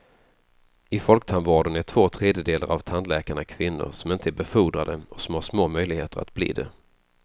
I folktandvården är två tredjedelar av tandläkarna kvinnor som inte är befordrade och som har små möjligheter att bli det.